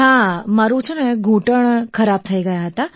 હામારા ઘૂંટણ ખરાબ થઈ ગયા હતા